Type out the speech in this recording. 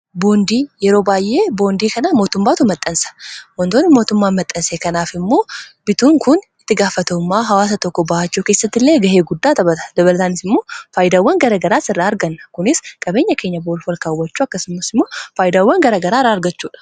Boondii; yeroo baayyee boondii kanaa mootummaatu maxxansa. Wantoonni mootummaan maxxanse kanaaf immoo bituun kun itti gaafataummaa hawaasa tokko ba'achuu keessatti illee gahee guddaa taphata. Dabalataanis immoo faayidaawwan garagaraas irraa arganna. Kunis qabeenya keenya olkaawwachuu akkasummas immoo faayidaawwan garagara irraa argachuudha.